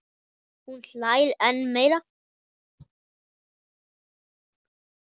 Hún hlær enn meira.